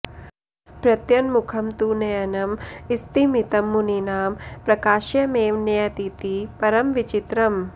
प्रत्यङ्मुखं तु नयनं स्तिमितं मुनीनां प्राकाश्यमेव नयतीति परं विचित्रम्